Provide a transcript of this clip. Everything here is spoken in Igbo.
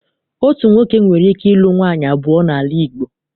Otu nwoke nwere ike ịlu nwaanyị abụọ n'ala Igbo.